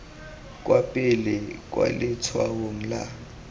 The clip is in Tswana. kwa pele kwa letshwaong la